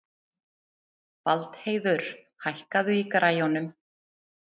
Valdheiður, hækkaðu í græjunum.